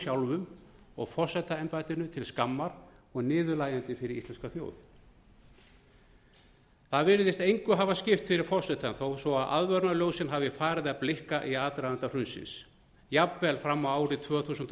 sjálfum og forsetaembættinu til skammar og niðurlægjandi fyrir íslenska þjóð það virðist engu hafa skipt fyrir forsetann þó svo aðvörunarljósin hafi farið að blikka í aðdraganda hrunsins jafnvel fram á árið tvö þúsund og